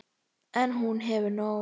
En hún hefur nóg.